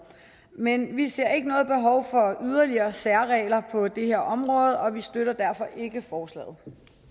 men vi ser ikke noget behov for yderligere særregler på det her område og vi støtter derfor ikke forslaget